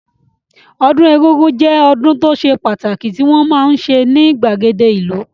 Ọdún egúngún jẹ́ ọdún tó ṣe pàtàkì tí wọ́n máa ń ṣe ní ìgbàgede ìlú